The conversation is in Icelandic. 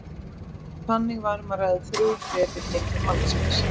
Þannig var um að ræða þrjú þrep í hnignun mannsins.